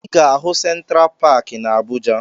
Ị ga-ahụ Sentra Paakị na Abuja